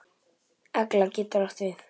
Egla getur átt við